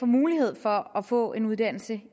mulighed for at få en uddannelse